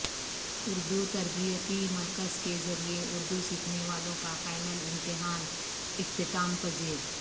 اردو تربیتی مرکز کے ذریعہ اردو سیکھنے والوں کا فائنل امتحان اختتام پذیر